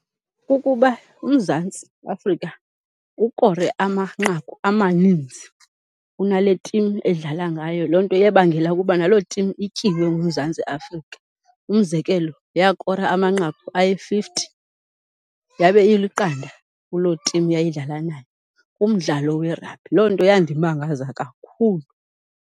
Kukuba uMzantsi Afrika ukore amanqaku amaninzi kunale tim edlala ngayo, loo nto yabangela ukuba naloo tim ityiwe nguMzantsi Afrika. Umzekelo, yakora amanqaku ayi-fifty yabe iliqanda kuloo tim yayidlala nayo umdlalo werabhi. Loo nto yandimangaza kakhulu.